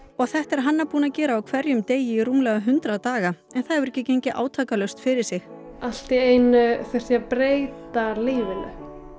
og þetta er Hanna búin að gera á hverjum degi í rúmlega hundrað daga en það hefur ekki gengið átakalaust fyrir sig allt í einu þurfti ég að breyta lífinu